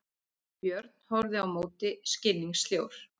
Björn horfði á móti skilningssljór.